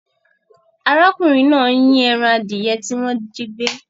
Arákùnrin náà ń yín ẹran adìẹ tí wọ́n jígbẹ́.